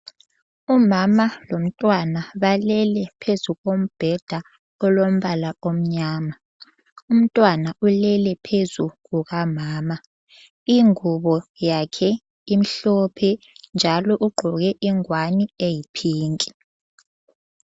Umama lomntwana balele phezu kombheda olombala omyama. Umntwana ulele phezu kuka mama ,ingubo yakhe imhlophe njalo ugqoke ingwane eyi pink.